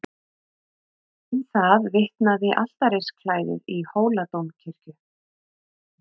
Um það vitnaði altarisklæðið í Hóladómkirkju.